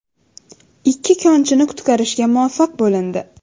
Ikki konchini qutqarishga muvaffaq bo‘lindi.